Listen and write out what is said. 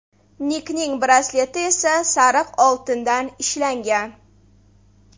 Nikning brasleti esa sariq oltindan ishlangan.